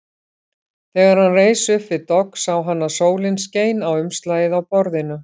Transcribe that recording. Þegar hann reis upp við dogg sá hann að sólin skein á umslagið á borðinu.